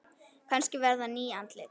Kannski verða ný andlit.